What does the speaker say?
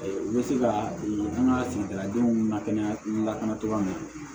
U bɛ se ka an ka sɛnɛkɛladenw lakana lakana cogo min na